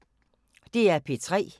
DR P3